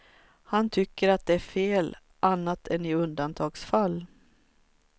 Han tycker att det är fel annat än i undantagsfall.